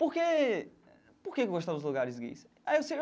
Por que por que eu gostava dos lugares gays?